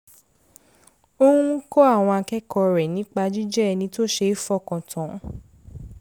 ó ń kọ́ àwọn akẹ́kọ̀ọ́ rẹ̀ nípa jíjẹ́ ẹni tó ṣe é fọkàn tán